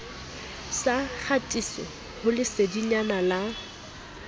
sa kgatiso ho lesedinyana la